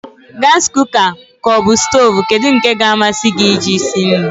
Gasi kuka ka ọbụ stoovu, kedụ nke ka amasị gị e ji sie nri?